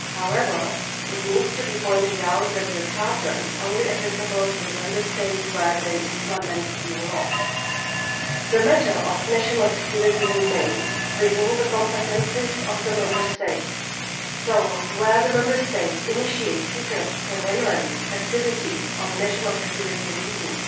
However, it should be pointed out that the Charter is applicable only to the Member States where EU law is implemented. The matter of national security remains within the competences of the Member States so, where the Member States initiate secret surveillance activities for national security reasons,